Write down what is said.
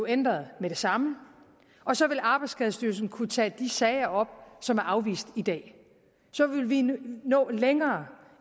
ændret med det samme og så vil arbejdsskadestyrelsen kunne tage de sager op som er afvist i dag så vil vi nå længere